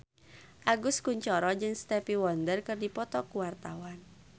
Agus Kuncoro jeung Stevie Wonder keur dipoto ku wartawan